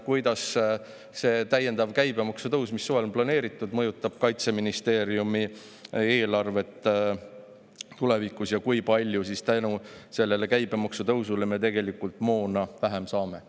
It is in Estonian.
Kuidas see täiendav käibemaksu tõus, mis suveks on planeeritud, mõjutab Kaitseministeeriumi eelarvet tulevikus ja kui palju vähem me selle käibemaksu tõusu tõttu moona saame?